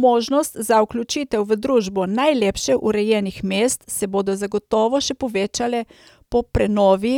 Možnosti za vključitev v družbo najlepše urejenih mest se bodo zagotovo še povečale po prenovi